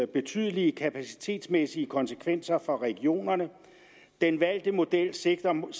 betydelige kapacitetsmæssige konsekvenser for regionerne den valgte model sigter mod